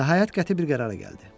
Nəhayət qəti bir qərara gəldi.